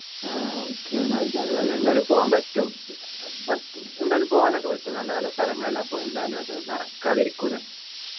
ആഹ് okay എന്നാല് വിചാരം നല്ലെ എന്തായാലും പോവാൻ പറ്റും പറ്റും എന്തായാലും പോവാൻ ഒക്കെ പറ്റും നല്ല നല്ല സ്ഥലങ്ങളല്ലേ അപ്പൊ എന്തായാലും അത് നടക്കാതിരിക്കൂല